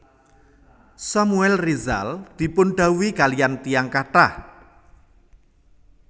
Samuel Rizal dipun dhawuhi kaliyan tiyang kathah